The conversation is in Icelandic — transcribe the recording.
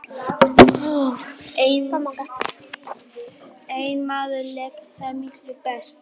Einn maður lék þar miklu best.